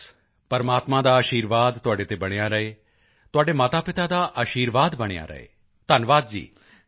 ਬਸ ਪ੍ਰਮਾਤਮਾ ਦਾ ਅਸ਼ੀਰਵਾਦ ਤੁਹਾਡੇ ਤੇ ਬਣਿਆ ਰਹੇ ਤੁਹਾਡੇ ਮਾਤਾਪਿਤਾ ਦਾ ਅਸ਼ੀਰਵਾਦ ਬਣਿਆ ਰਹੇ ਧੰਨਵਾਦ ਜੀ